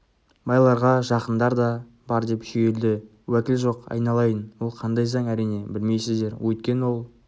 байларға жақындар да бар деп шүйілді уәкіл жоқ айналайын ол қандай заң әрине білмейсіздер өйткені ол